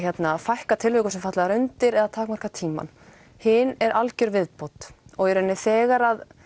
fækka tilvikum sem falla þar undir eða takmarka tímann hin er algjör viðbót og í raun þegar